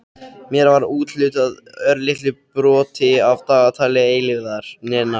Mér var úthlutað örlitlu broti af dagatali eilífðarinnar.